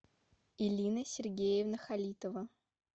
ирина сергеевна халитова